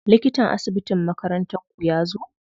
Likatan asibitin makarantar ku yazo?